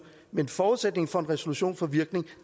men forudsætningen for at en resolution får virkning